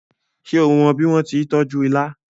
ṣe o mó bí wón tí tọjú ìlà